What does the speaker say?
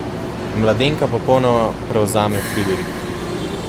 Mladenka popolnoma prevzame Friderika.